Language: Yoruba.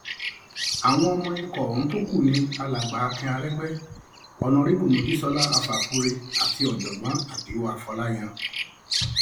àwọn ọmọ ikọ ọhún tó kú ni alàgbà akin aregbe on arebu mojsóná afáfúre àti ọjọgbọn àdìo fòláyàn